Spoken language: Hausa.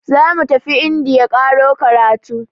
Zamu tafi indiya ƙaro karatu.